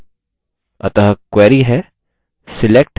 अतः query है: